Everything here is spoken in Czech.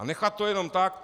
A nechat to jenom tak?